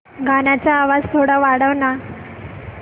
गाण्याचा थोडा आवाज वाढव ना